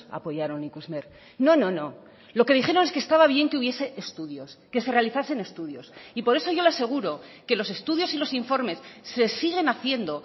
apoyaron ikusmer no no no lo que dijeron es que estaba bien que hubiese estudios que se realizasen estudios y por eso yo le aseguro que los estudios y los informes se siguen haciendo